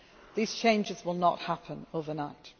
These changes will not happen